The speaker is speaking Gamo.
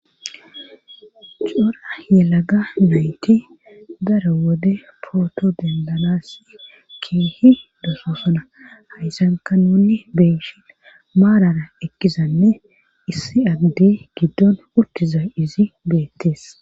coora yelaga moyti dara wode pooto dendanas keehi dososana haysanka nunni beeshin maarara ekkizanne issi addi giddon uttuza izi beettees